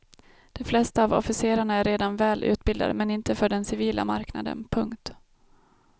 De flesta av officerarna är redan väl utbildade men inte för den civila marknaden. punkt